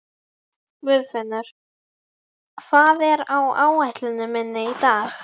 Guðfinnur, hvað er á áætluninni minni í dag?